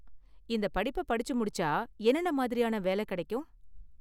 இந்த படிப்ப படிச்சு முடிச்சா என்னென்ன மாதிரியான வேல கெடைக்கும்?